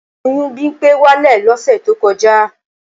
Oyún Bimpé wálẹ̀ lọ́sẹ̀ tó kọjá